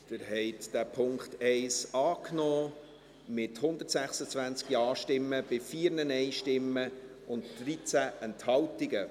Sie haben den Punkt 1 angenommen, mit 126 Ja- gegen 4 Nein-Stimmen bei 13 Enthaltungen.